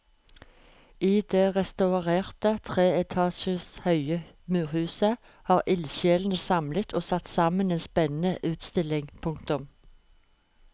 I det restaurerte tre etasjer høye museet har ildsjelene samlet og satt sammen en spennende utstilling. punktum